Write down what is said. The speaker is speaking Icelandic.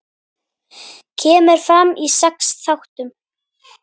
Kemur fram í sex þáttum.